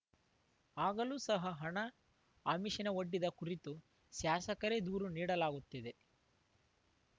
ಆಗಲೂ ಸಹ ಹಣ ಆಮಿಷನ ವೊಡ್ಡಿದ ಕುರಿತು ಶಾಸಕರೇ ದೂರು ನೀಡಲಾಗುತ್ತಿದೆ